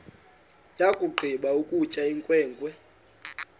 yakugqiba ukutya inkwenkwe